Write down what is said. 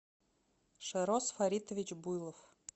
шарос фаритович буйлов